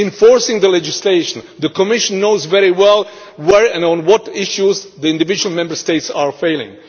Enforcing the legislation the Commission knows very well where and on what issues individual Member States are failing.